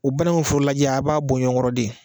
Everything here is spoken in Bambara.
O balimaw foro lajɛ a b'a bɔ ɲɔgɔn kɔrɔ de